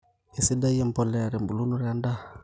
Kisaidia emboleya ebulunoto endaa